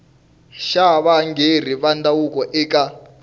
ya varhangeri va ndhavuko eka